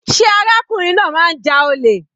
Sé arákùnrin náà máa ń ja olè.